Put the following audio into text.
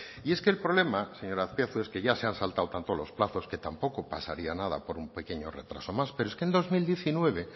y es que el problema señor azpiazu es que ya se ha saltado tanto los plazos que tampoco pasaría nada por un pequeño retraso más pero es que en dos mil diecinueve